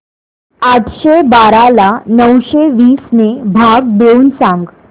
आठशे बारा ला नऊशे वीस ने भाग देऊन सांग